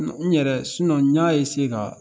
N ɲɛrɛ n y'a ka